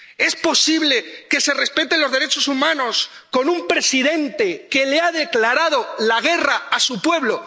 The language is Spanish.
¿Es posible que se respeten los derechos humanos con un presidente que le ha declarado la guerra a su pueblo?